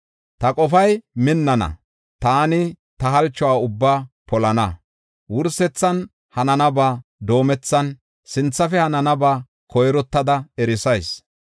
Ta qofay minnana; taani ta halchuwa ubbaa polana. Wursethan hananaba doomethan, sinthafe hananaba koyrottada erisayis.